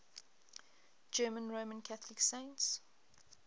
german roman catholic saints